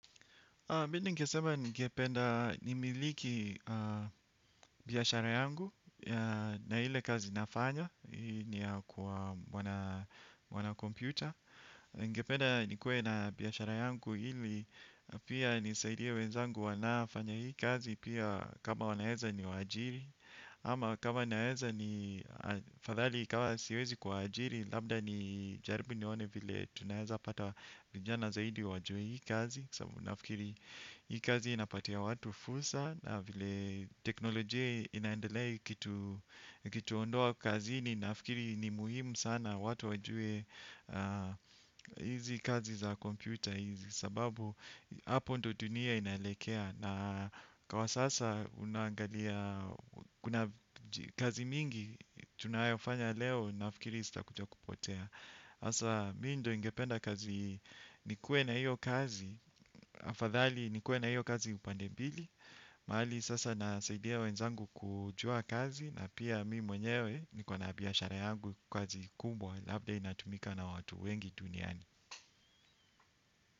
Mimi ningesema ningependa nimiliki biashara yangu na ile kazi nafanya. Ni ya kwa wanacomputer. Nigependa nikuwe na biashara yangu ili na pia nisaidie wenzangu wanaofanya hii kazi pia kama wanaeza niwaajiri ama kama wanaeza ni afadhali kama siwezi kuwaajiri. Labda nijaribu nione vile tunaweza pata vijana zaidi wajue hii kazi sababu nafikiri hii kazi inapatia watu fursa na vile teknolojia inaendelea ikituondoa kazini nafikiri ni muhimu sana watu wajue hizi kazi za kompyuta hizi sababu hapo ndio dunia inalekea na kwa sasa unaangalia kazi mingi tunayofanya leo nafikiri zitakuja kupotea hasa mi ndio ingependa kazi nikuwe na iyo kazi afadhali nikuwe na iyo kazi upande mbili. Mahali sasa nasaidia wenzangu kujua kazi na pia mi mwenyewe niko na biashara yangu kazi kubwa labda inatumika na watu wengi duniani.